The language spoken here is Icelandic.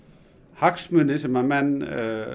hagsmuni sem að menn